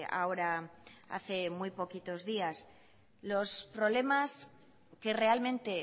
ahora hace muy poquitos días los problemas que realmente